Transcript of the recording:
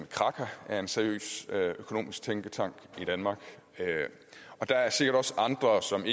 kraka er en seriøs økonomisk tænketank i danmark og der er sikkert også andre som